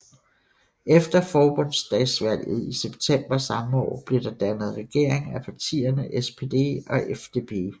Efter forbundsdagsvalget i september samme år blev der dannet regering af partierne SPD og FDP